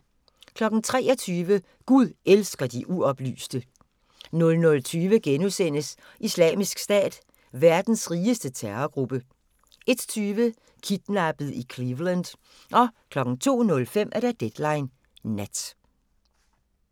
23:00: Gud elsker de uoplyste 00:20: Islamisk Stat – verdens rigeste terrorgruppe * 01:20: Kidnappet i Cleveland 02:05: Deadline Nat